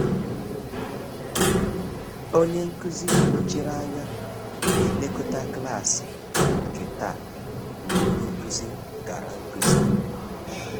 Onye nkụzi nọchiri anya na elekọta klaasị nke taa mgbe onye nkụzi gara nkụzi